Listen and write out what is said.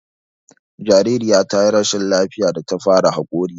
Jariraya ta yi rashin lafiya da ta fara haƙori